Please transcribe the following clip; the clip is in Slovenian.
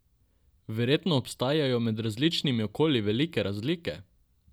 Verjetno obstajajo med različnimi okolji velike razlike?